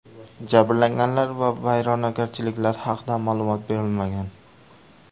Jabrlanganlar va vayronagarchiliklar haqida ma’lumot berilmagan.